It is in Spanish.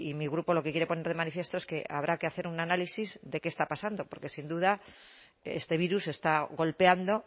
mi grupo lo que quiere poner de manifiesto es que habrá que hacer un análisis de qué está pasando porque sin duda este virus está golpeando